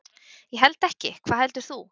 Ég held ekki, hvað heldur þú?